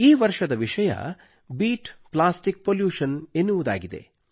ಈ ವರ್ಷದ ವಿಷಯ ಬೀಟ್ ಪ್ಲಾಸ್ಟಿಕ್ ಪಾಲ್ಯೂಷನ್ ಎನ್ನುವುದಾಗಿದೆ